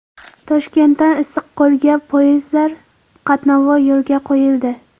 Toshkentdan Issiqko‘lga poyezdlar qatnovi yo‘lga qo‘yildi.